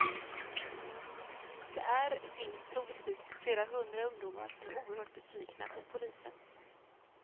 Det är finns troligtvis flera hundra ungdomar som är oerhört besvikna på polisen.